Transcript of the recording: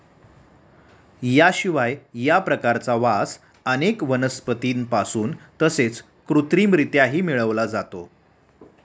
याशिवाय या प्रकारचा वास अनेक वनस्पतींपासून तसेच कृत्रिमरित्याही मिळवला जातो.